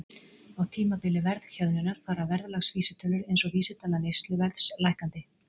Á tímabili verðhjöðnunar fara verðlagsvísitölur eins og vísitala neysluverðs lækkandi.